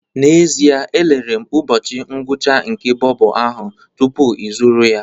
N'ezie, elere m ụbọchị ngwụcha nke bobo ahụ tupu ịzụrụ ya